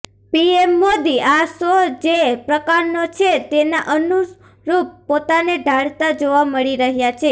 PM Modi આ show જે પ્રકારનો છે તેના અનુરુપ પોતાને ઢાળતા જોવા મળી રહ્યા છે